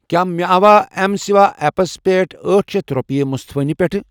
کیٛاہ مےٚ آوا ایٚم سٕوا ایپس پٮ۪ٹھ أٹھ شیتھ رۄپیہِ مُصطفیٰ نہِ پٮ۪ٹھٕ؟